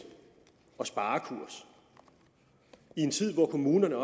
og sparekurs i en tid hvor kommunerne